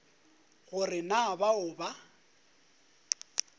go re na bao ba